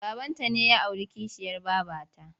Babanta ne ya auri kishiyar babata.